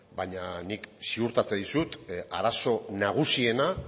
baina nik ziurtatzen dizut arazo nagusiena